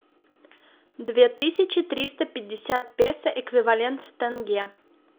две тысячи триста пятьдесят песо эквивалент в тенге